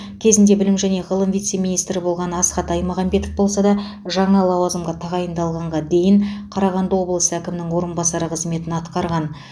кезінде білім және ғылым вице министрі болған асхат аймағамбетов болса да жаңа лауазымға тағайындалғанға дейін қарағанды облысы әкімінің орынбасары қызметін атқарған